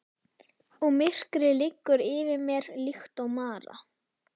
Og myrkrið liggur yfir mér líkt og mara.